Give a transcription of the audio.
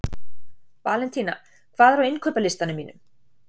Valentína, hvað er á innkaupalistanum mínum?